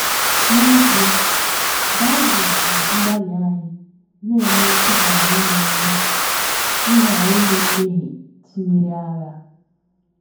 N’ezie, Bible ji mgbalị anyị na - eme ịghara ime eme ịghara ime mmehie tụnyere agha.